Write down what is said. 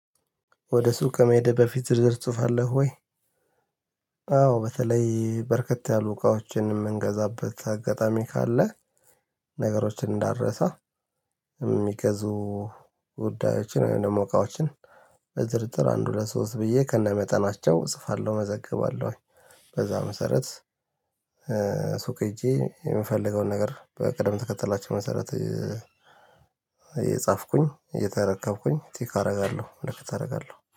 ወደ ሱቅ ከመሄድ በፊት ዝርዝር ትጽፋለህ ወይ? አዎ በተለይ በርከት ያሉ እቃዎችን የምንገዛበት አጋጣሚ ካለ ነገሮችን እንዳረሳ የሚገዙ ጉዳዮችን ወይም ደግሞ እቃዎችን በዝርዝር አንድ ሁለት ሶስት ብዬ ከነመጠናቸው እጽፋለሁ መዘግባለሁኝ በዛ መሰረት ሱቅ ሄጄ የምፈልገውን ነገር በቅደም ተከተላቸው መሰረት እየጻፍኩኝ እየተረከብኩኝ ቲክ አደርጋለሁ ምልክት አደርጋለሁ